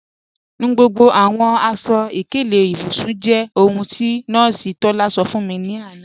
Nù gbogbo àwọn aṣọ-ìkẹlẹ̀ ìbùsùn jẹ́ ohun tí Nọọsi Tọlá sọ̀ fún mi lána.